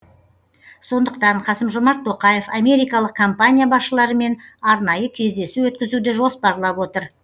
сондықтан қасым жомарт тоқаев америкалық компания басшыларымен арнайы кездесу өткізуді жоспарлап отыр